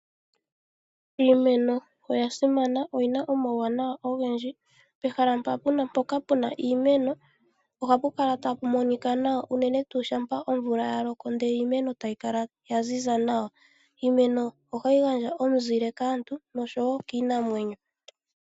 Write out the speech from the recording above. Iimeno oya simana oyina omauwanawa ogendji. Pehala mpoka pena iimeno ohapu kala tapu monika nawa unene tuu shampa omvula ya loko nde iimeno tayi kala ya ziza nawa. Iimeno ohayi gandja omuzile kaantu nosho wo kiinamwenyo.